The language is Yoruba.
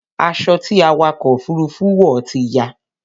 Aṣọ ti awakọ̀ òfurufú wọ̀ ti ya